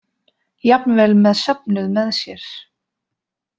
Jafnvel með söfnuð með sér.